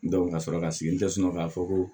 ka sɔrɔ ka sigi n tɛ sunɔgɔ k'a fɔ ko